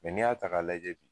n'i y'a ta k'a lajɛ bi